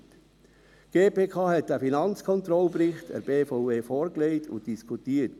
Die GPK legte diesen Finanzkontrollbericht der BVE vor, und man diskutierte ihn.